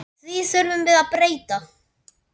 Því þurfum við að breyta.